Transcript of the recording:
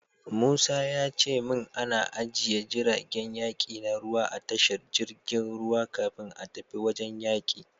Musa ya ce min ana ajiye jiragen yaki na ruwa a tashar jirgin ruwa kafin a tafi wajen yaki.